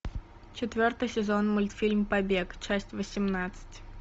четвертый сезон мультфильм побег часть восемнадцать